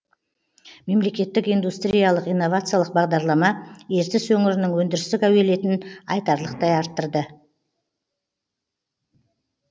мемлекеттік индустриялық инновациялық бағдарлама ертіс өңірінің өндірістік әуелетін айтарлықтай арттырды